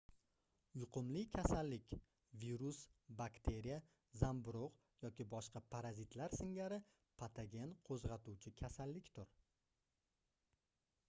yuqumli kasallik virus bakteriya zamburugʻ yoki boshqa parazitlar singari patogen qoʻzgʻatuvchi kasallikdir